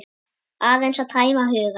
Aðeins að tæma hugann.